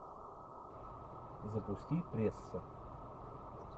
запусти пресса